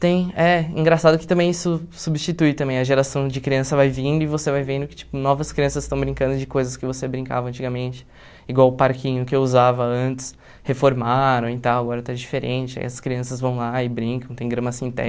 Tem, é, engraçado que também isso substitui também, a geração de criança vai vindo e você vai vendo que, tipo, novas crianças estão brincando de coisas que você brincava antigamente, igual o parquinho que eu usava antes, reformaram e tal, agora está diferente, aí as crianças vão lá e brincam, tem grama